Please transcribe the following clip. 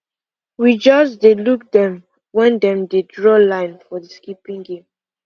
we just dey look them when dem dey draw line for the skipping game